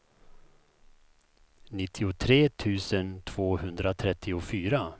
nittiotre tusen tvåhundratrettiofyra